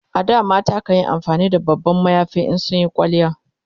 A da mata kanyi amfani da babban mayafi in sun Yi kwalliya